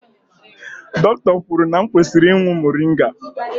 Dọkịta kwuru na m kwesịrị ị drinkụ moringa